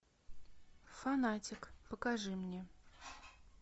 фанатик покажи мне